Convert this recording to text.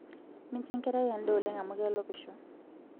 mincho enkerai edaa oleng amuu kelopisho